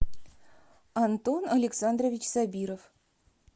антон александрович сабиров